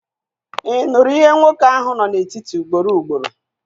Ị nụrụ ihe nwoke ahụ nọ na-eti ugboro ugboro?